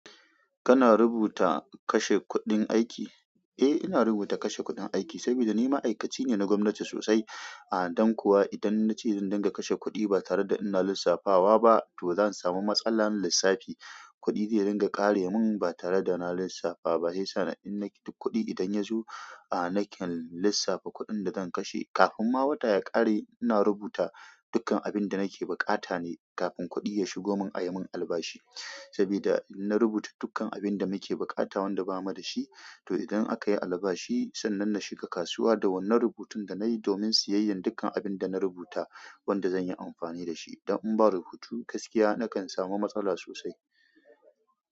Kana rubuta kashe kuɗin aiki, eh ina rubuta kashe kuɗin aiki sabida ni maaikaci ne na gwamnati sosai, don kuwa idan nace zan dinga kashe kuɗi ba tare da ina lissafawa ba to zan samu matsalan lissafi. Kuɗi da ya dinga ƙare min ba tare da na lissafa ba shiyasa in na kuɗi idan yazo a naken lissafa kuɗin da zan kashe. Kafin ma wata ya ƙare ina rubuta dukkan abin da nake buƙata ne kafin kuɗi ya shigo mun ayi mun albashi. Saboda inna rubuta dukkan abinda muke buƙata wanda bamu da shi to idan akayi albashi sannan na shiga kasuwa da wannan rubutun da nayi domin siyayyan dukkan abinda na rubuta wanda zan yi amfani da shi. Dan in ba rubutu gaskiya nakan samu matsala sosai.